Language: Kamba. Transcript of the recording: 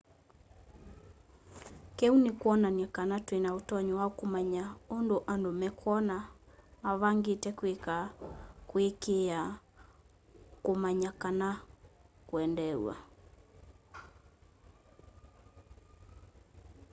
kiu ni kwonany'a kana twina utonyi wa kumanya undu andu mekwona mavangite kwika kuaikiia kumanya kana kwendeew'a